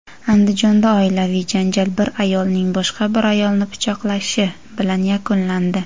Andijonda oilaviy janjal bir ayolning boshqa bir ayolni pichoqlashi bilan yakunlandi.